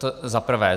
To za prvé.